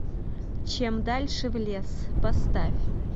чем дальше в лес поставь